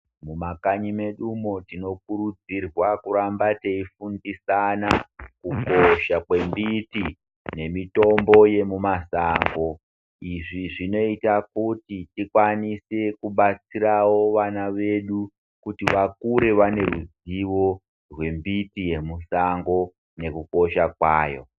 Mu makanyi medumo tino kurudzirwa kuramba tei fundisana kukosha kwe miti ne mitombo yemu masango izvi zvinoita kuti ikwanise ku batsirawo vana vedu kuti vakure vane ruzivo hwe mbiti ye musango neku kosha kwayo.